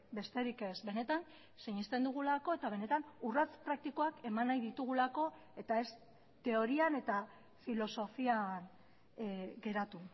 besterik ez benetan sinesten dugulako eta benetan urrats praktikoak eman nahi ditugulako eta ez teorian eta filosofian geratu